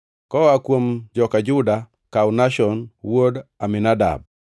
koa kuom joka Juda, kaw Nashon wuod Aminadab;